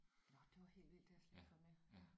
Nåh det var helt vildt det har jeg slet ikke fået med ja